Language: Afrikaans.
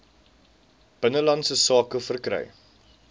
binnelandse sake verkry